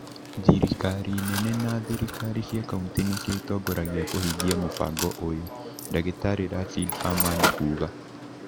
Thirikari nene na thirikari cia kaunti nĩcio itongoragia kũhingia mũbango ũyũ," Dagĩtarĩ Racidi Aman kuuga